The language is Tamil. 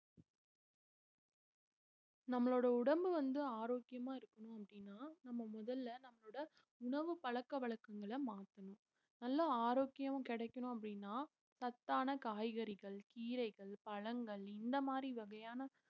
நம்மளோட உடம்பு வந்து ஆரோக்கியமா இருக்கணும் அப்படின்னா நம்ம முதல்ல நம்மளோட உணவு பழக்கவழக்கங்களை மாத்தணும் நல்ல ஆரோக்கியம் கிடைக்கணும் அப்படின்னா சத்தான காய்கறிகள் கீரைகள் பழங்கள் இந்த மாதிரி வகையான